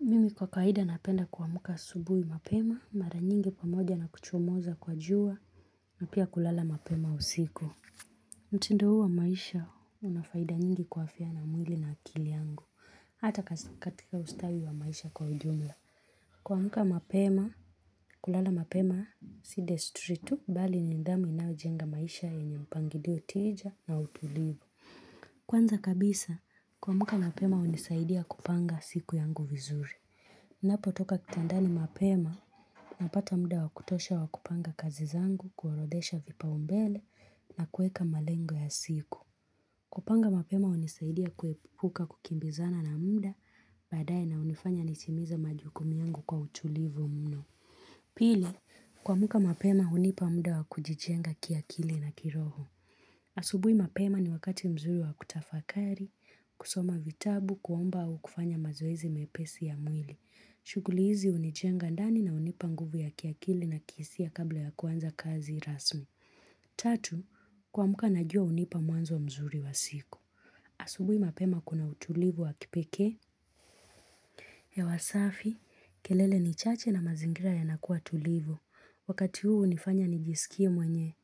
Mimi kwa kawaida napenda kuamka asubuhi mapema, mara nyingi pamoja na kuchomoza kwa jua, na pia kulala mapema usiku. Mutindo huu wa maisha una faida nyingi kwa afya na mwili na akili yangu. Hata katika ustawi wa maisha kwa ujumla. Kuamka mapema, kulala mapema si desturi tu, bali ni nidhamu inayojenga maisha yenye mpangilio tija na utulivu. Kwanza kabisa, kuamka mapema unisaidia kupanga siku yangu vizuri. Ninapotoka kitandani mapema, napata mda wa kutosha wa kupanga kazi zangu, kuorodhesha vipaumbele na kueka malengo ya siku. Kupanga mapema unisaidia kuepuka kukimbizana na mda, baadae na unifanya nisimize majukumu yangu kwa utulivu mno. Pili, kuamka mapema hunipa muda wa kujijenga kiakili na kiroho. Asubui mapema ni wakati mzuri wa kutafakari, kusoma vitabu, kuomba au kufanya mazoezi mepesi ya mwili. Shughuli hizi hunijenga ndani na unipa nguvu ya kiakili na kiisia kabla ya kuanza kazi rasmi Tatu, kuamka najua unipa mwanzo mzuri wa siku Asubui mapema kuna utulivu wa kipekee hewa safi, kelele ni chache na mazingira yanakuwa tulivu Wakati huu unifanya nijisikie mwenye